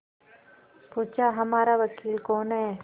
पूछाहमारा वकील कौन है